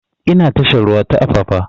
Ina tashar ruwa ta apapa